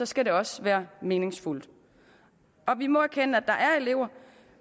skal det også være meningsfuldt vi må erkende at der er elever